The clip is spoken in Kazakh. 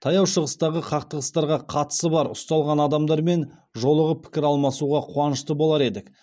таяу шығыстағы қақтығыстарға қатысы бар ұсталған адамдармен жолығып пікір алмасуға қуанышты болар едік